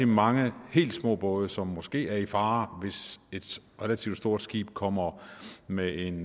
mange helt små både som måske er i fare hvis et relativt stort skib kommer med en